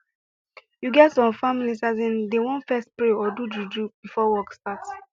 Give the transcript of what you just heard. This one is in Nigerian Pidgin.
you get some families asin dey want fess pray or do juju before work start